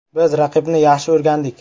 Biz raqibni yaxshi o‘rgandik.